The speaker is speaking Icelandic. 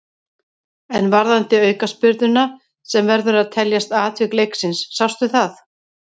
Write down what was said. En varðandi aukaspyrnuna sem verður að teljast atvik leiksins, sástu það?